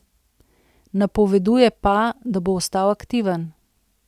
Napoveduje pa, da bo ostal aktiven.